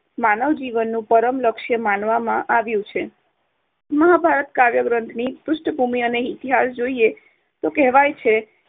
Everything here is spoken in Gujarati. માનવ જીવનનું પરમ લક્ષ્ય માનવામાં આવ્યુ છે. મહાભારત કાવ્ય ની પૃષ્ઠભૂમિ અને ઇતિહાસ જોઈએ તો કહેવાય છે.